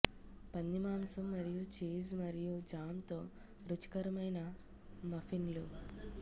పంది మాంసం మరియు చీజ్ మరియు జామ్ తో రుచికరమైన మఫిన్లు